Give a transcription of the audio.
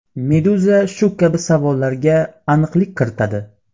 Meduza shu kabi savollarga aniqlik kiritadi .